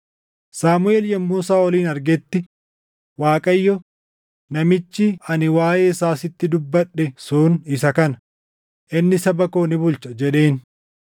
Saamuʼeel yommuu Saaʼolin argetti, Waaqayyo, “Namichi ani waaʼee isaa sitti dubbadhe sun isa kana; inni saba koo ni bulcha” jedheen.